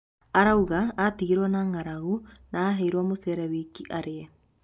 Arauga atigirwo na ng'aragu na aheirwo mucere wika arie